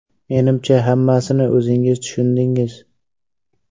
Menimcha, hammasini o‘zingiz tushundingiz.